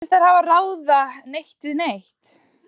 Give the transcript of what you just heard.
Mér sýnist þeir bara ekki ráða neitt við neitt.